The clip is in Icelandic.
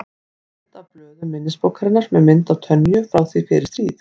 Mynd af blöðum minnisbókarinnar með mynd af Tönyu frá því fyrir stríð.